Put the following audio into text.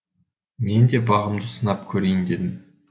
мен де бағымды сынап көрейін дедім